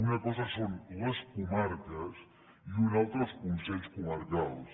una cosa són les comarques i una altra els consells comarcals